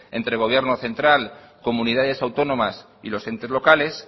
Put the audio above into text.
entre el gobierno central comunidades autónomas y los entes locales